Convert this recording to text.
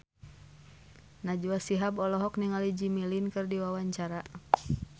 Najwa Shihab olohok ningali Jimmy Lin keur diwawancara